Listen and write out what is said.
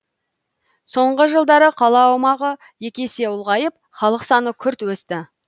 соңғы жылдары қала аумағы екі есе ұлғайып халық саны күрт өсті